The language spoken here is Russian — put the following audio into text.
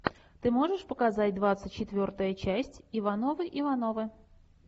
ты можешь показать двадцать четвертая часть ивановы ивановы